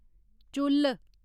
चुल्ल